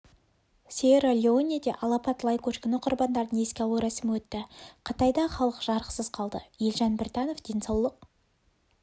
сьерра-леонеде алапат лай көшкіні құрбандарын еске алу рәсімі өтті қытайда халық жарықсыз қалды елжан біртанов денсаулық